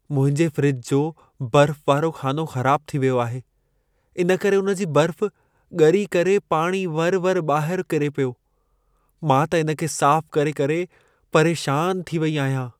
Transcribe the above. मुंहिंजे फ़्रिज जो बर्फ़ वारो ख़ानो ख़राब थी वियो आहे। इन करे उन जी बर्फ़ ॻरी करे पाणी वरि-वरि ॿाहिरि किरे पियो। मां त इन खे साफ़ करे-करे परेशान थी वेई आहियां।